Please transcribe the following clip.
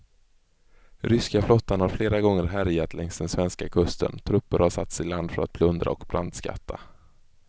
Ryska flottan har flera gånger härjat längs den svenska kusten, trupper har satts i land för att plundra och brandskatta.